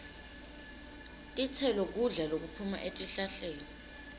titselo kudla lokuphuma etihlahleni